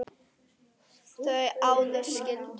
Þau Auður skildu.